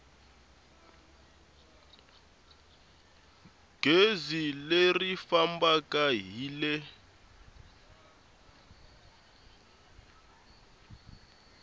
gezi leri fambaka hi le